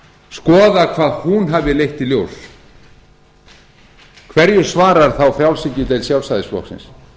skoða hvað hún hafi leitt í ljós hverju svarar þá frjálshyggjudeild sjálfstæðisflokksins